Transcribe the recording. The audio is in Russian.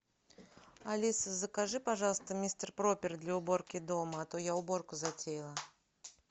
алиса закажи пожалуйста мистер пропер для уборки дома а то я уборку затеяла